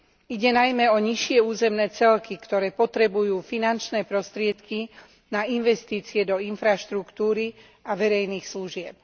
Ide najmä o nižšie územné celky, ktoré potrebujú finančné prostriedky na investície do infraštruktúry a verejných služieb.